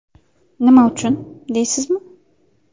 Nima uchun, deysizmi?